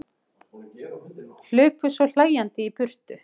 Hlupu svo hlæjandi í burtu.